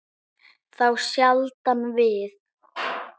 Þá sjaldan við